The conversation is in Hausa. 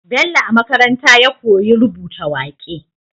Bello a makaranta ya koyi rubuta waƙe